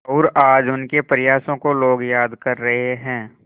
और आज उनके प्रयासों को लोग याद कर रहे हैं